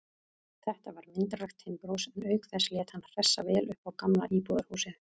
Þetta var myndarlegt timburhús, en auk þess lét hann hressa vel upp á gamla íbúðarhúsið.